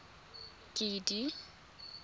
kedi